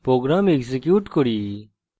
program execute করি